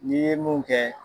N'i ye mun kɛ